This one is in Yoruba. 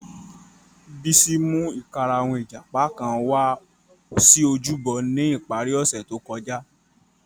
Bisi mu ikarahun ijapa kan wa si ojúbọ ni ipari ose to kọja.